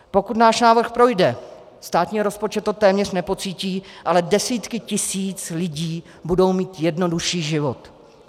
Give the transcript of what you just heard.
Pokud náš návrh projde, státní rozpočet to téměř nepocítí, ale desítky tisíc lidí budou mít jednodušší život.